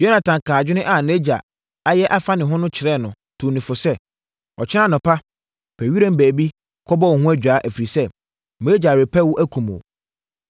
Yonatan kaa adwene a nʼagya ayɛ afa ne ho no kyerɛɛ no tuu no fo sɛ, “Ɔkyena anɔpa, pɛ wiram baabi kɔbɔ wo ho adwaa, ɛfiri sɛ, mʼagya repɛ wo akum wo.